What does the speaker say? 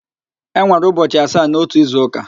E nwere ụbọchị asaa n'ótù izuụ́kà.